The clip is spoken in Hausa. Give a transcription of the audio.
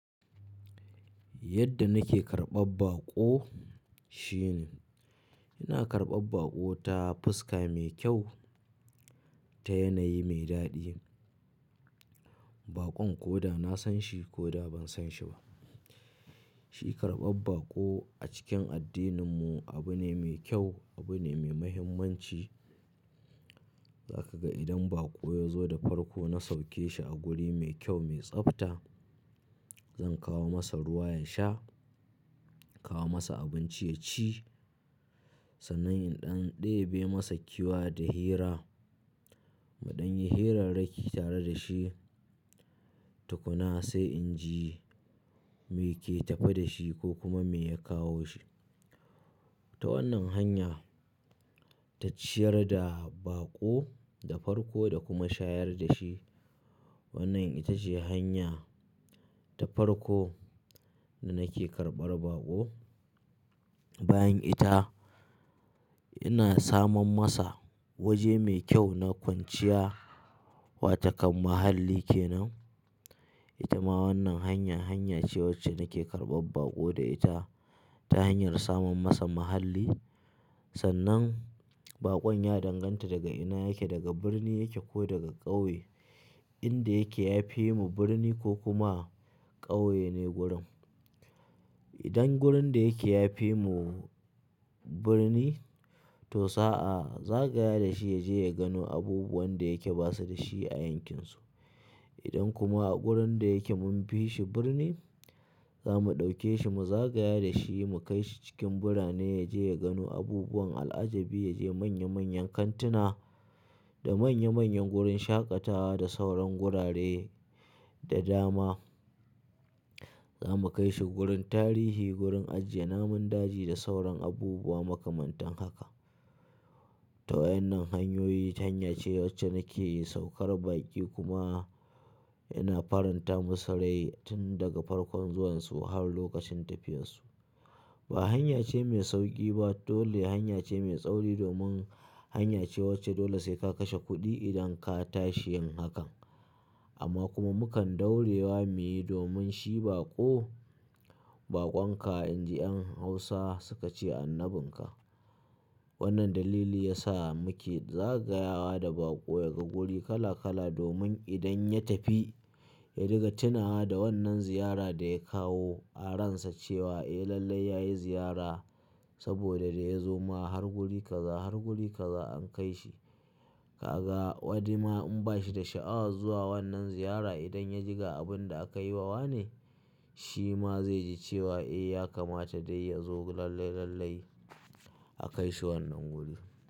Yadda nake karɓar baƙo shine, ina karɓar baƙo ta fuska mai kyau, ta yanayi mai daɗi. Baƙon koda na san shi koda ban san shi ba, shi karɓar baƙo a cikin addininmu abu ne mai kyau, abu ne mai muhimmanci. Za ka ga idan baƙo ya zo da farko na sauke shi a guri mai kyau, mai tsafta. Zan kawo masa ruwa ya sha, in kawo masa abinci ya ci. Sannan in ɗan ɗebe masa kewa da hira, muɗan yi hirarrakki tare da shi. Tukuna sai in ji me ke tafe da shi ko kuma me ya kawo shi. Ta wannan hanya, ta ciyar da baƙo da farko da kuma shayar da shi. Wannan ita ce hanya ta farko da nake karɓar baƙo. Bayan ita, ina samun masa waje mai kyau na kwanciya, wata kan muhalli ke nan. Sannan in ɗan ɗebe masa kewa da hira, muɗan yi hirarrakki tare da shi. Sannan baƙon ya danganta daga ina yake, daga birni yake ko daga ƙauye. Sannan in ɗan ɗebe masa kewa da hira, muɗan yi hirarrakki tare da shi. Tukuna sai in ji me ke tafe da shi ko kuma me ya kawo shi. Idan kuma a gurin da yake, munfi shi birni, zamu dauke shi, mu zagaye dashi mu kaishi cikin birane, yaje ya gano abubuwan al'ajabi, yaje ya gano manyan tituna da manya manyan gurin shaƙatawa da sauran gurare da dama. Za mu kai shi gurin tarihi, gurin ajiye namun daji da sauran abubuwa makamantan haka. To wa'innan hanyoyi, hanya ce wacce nake saukar baƙi kuma, ina faranta musu rai tun daga farkon zuwansu har lokacin tafiyar su. Ba hanya ce mai sauƙi ba, dole hanya ce mai tsauri domin hanya ce wacce dole sai ka kashe kuɗi idan ka tashi yin hakan. Amma kuma mukan ɗore wa miyi domin shi baƙo, baƙon ka, in ji 'yan hausa suka ce annabin ka. Wannan dalili ya sa muke zagayawa da baƙo, ya ga guri kala kala domin idan ya tafi ya riga tunawa da wannan ziyara da ya kawo. A ransa cewa eh lallai ya yi ziyara, saboda da ya zo ma har guri kaza har guri kaza an kai shi. Kaga wani ma in ba shi da sha'awar zuwa wannan ziyara, idan ya ji ga abun da aka yi wa wane, shi ma zai ji cewa eh ya kamata dai ya zo lallai lallai a kai shi wannan guri.